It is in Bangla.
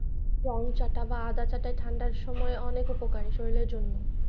গরম চা টা বা আদা চা টা ঠান্ডার সময় অনেক উপকারী, শরীরের জন্য।